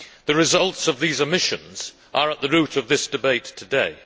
The results of these omissions are at the root of this debate today.